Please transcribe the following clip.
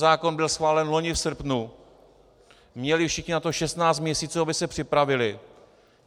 Zákon byl schválen loni v srpnu, měli všichni na to 16 měsíců, aby se připravili.